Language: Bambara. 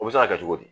O bɛ se ka kɛ cogo di